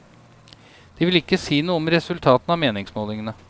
De vil ikke si noe om resultatene av meningsmålingene.